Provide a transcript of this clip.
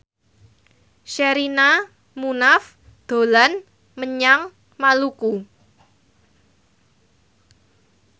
Sherina Munaf dolan menyang Maluku